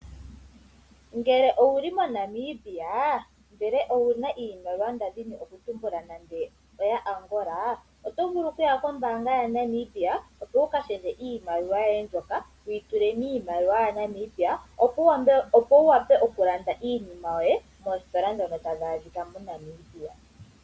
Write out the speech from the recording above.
Ngele owuli mo Namibia ndele owuna iimaliwa nande oya Angola otovulu okuya kombaanga ya Namibia opo wu ka shendje iimaliwa yoye mbyoka wuyi tule miimaliwa ya Namibia opo wuwape oku landa iinima yoye moositola ndhono tadhi adhika mo Namibia.